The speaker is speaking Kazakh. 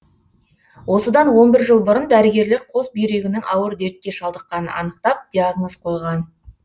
осыдан он бір жыл бұрын дәрігерлер қос бүйрегінің ауыр дертке шалдыққанын анықтап диагноз қойған